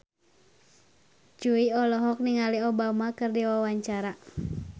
Jui olohok ningali Obama keur diwawancara